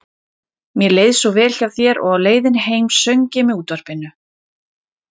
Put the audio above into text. Mér leið svo vel hjá þér og á leiðinni heim söng ég með útvarpinu.